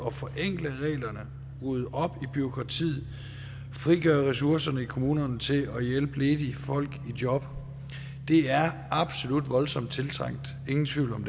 at forenkle reglerne rydde op i bureaukratiet og frigøre ressourcerne i kommunerne til at hjælpe ledige folk i job det er absolut voldsomt tiltrængt ingen tvivl om